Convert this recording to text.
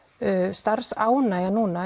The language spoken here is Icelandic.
starfsánægjan núna